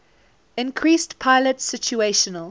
increased pilot situational